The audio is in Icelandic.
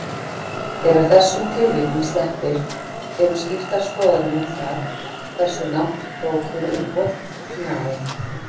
Þegar þessum tilvikum sleppir eru skiptar skoðanir um það hversu langt prókúruumboð nái.